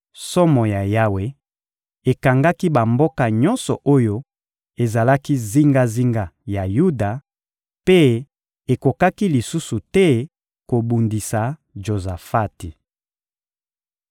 Somo ya Yawe ekangaki bamboka nyonso oyo ezalaki zingazinga ya Yuda, mpe ekokaki lisusu te kobundisa Jozafati.